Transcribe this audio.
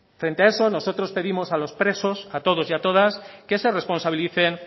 frente a eso nosotros pedimos a los presos a todos y a todas que se responsabilicen